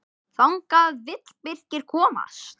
Þangað vill Birkir komast.